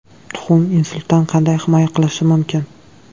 Tuxum insultdan qanday himoya qilishi mumkin?.